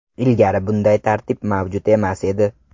Ilgari bunday tartib mavjud emas edi.